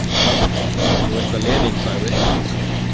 Þú veist hvað Lenín sagði?